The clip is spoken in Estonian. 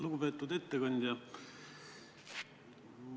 Lugupeetud ettekandja!